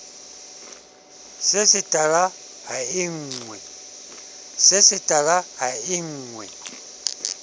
se setala ha e nnqwe